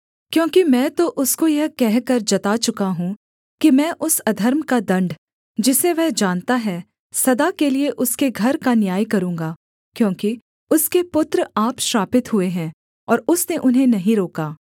क्योंकि मैं तो उसको यह कहकर जता चुका हूँ कि मैं उस अधर्म का दण्ड जिसे वह जानता है सदा के लिये उसके घर का न्याय करूँगा क्योंकि उसके पुत्र आप श्रापित हुए हैं और उसने उन्हें नहीं रोका